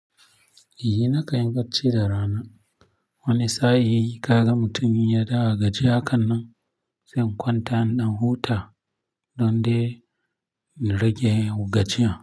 Eh, nakan yi baci da rana. Wani sa'in kaga mutum ya dawo a gajiye hakannan, zan kwanta na huta don dai na rage gajiyan.